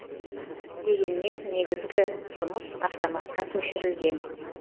дегенмен негізгі жұмыс автоматқа көшірілген